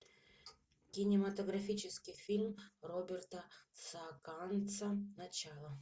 кинематографический фильм роберта саакянца начало